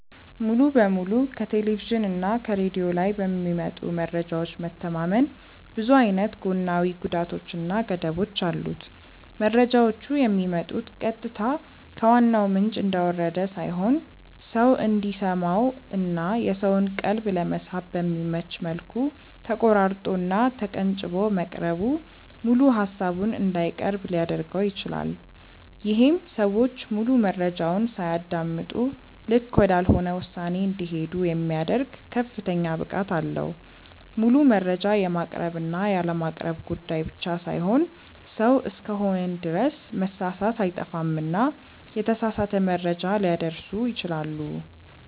ሙሉ በሙሉ ከቴሌቭዥን እና ከሬድዮ ላይ በሚመጡ መረጃዎች መተማመን ብዙ አይነት ጎናዊ ጉዳቶች እና ገደቦች አሉት። መረጃዎቹ የሚመጡት ቀጥታ ከዋናው ምንጭ እንደወረደ ሳይሆን ሰው እንዲሰማው እና የሰውን ቀልብ ለመሳብ በሚመች መልኩ ተቆራርጦ እና ተቀንጭቦ መቅረቡ ሙሉ ሃሳቡን እንዳይቀርብ ሊያድርገው ይችላል። ይሄም ሰዎች ሙሉ መረጃውን ሳያደምጡ ልክ ወዳልሆነ ውሳኔ እንዲሄዱ የሚያደርግ ከፍተኛ ብቃት አለው። ሙሉ መረጃ የማቅረብ እና ያለማቅረብ ጉዳይ ብቻ ሳይሆን ሰው እስከሆንን ድረስ መሳሳት አይጠፋምና የተሳሳተ መረጃ ሊያደርሱ ይችላሉ።